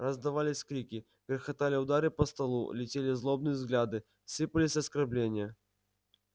раздавались крики грохотали удары по столу летели злобные взгляды сыпались оскорбления